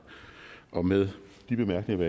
og med de bemærkninger